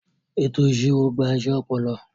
Ètò ìṣirò gba iṣẹ́ ọpọlọ.